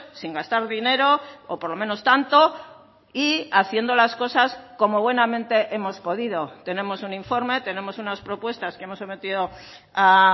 sin gastar dinero o por lo menos tanto y haciendo las cosas como buenamente hemos podido tenemos un informe tenemos unas propuestas que hemos sometido a